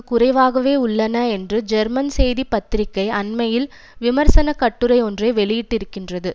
குறைவாகவே உள்ளன என்று ஜெர்மன் செய்தி பத்திரிகை அண்மையில் விமர்சனக் கட்டுரை ஒன்றை வெளியிட்டிருக்கின்றது